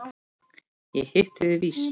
Ég hitti þig víst!